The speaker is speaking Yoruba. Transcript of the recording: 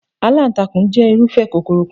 Aláǹtakùn jẹ́ irúfẹ́ kòkòrò kan.